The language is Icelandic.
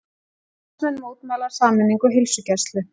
Starfsmenn mótmæla sameiningu heilsugæslu